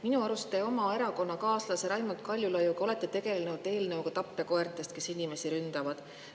Minu arust olete te oma erakonnakaaslase Raimond Kaljulaiuga tegelenud eelnõuga tapjakoertest, kes inimesi ründavad.